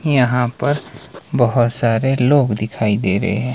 यहां पर बहोत सारे लोग दिखाई दे रहे हैं।